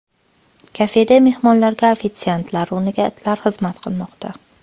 Kafeda mehmonlarga ofitsiantlar o‘rniga itlar xizmat qilmoqda.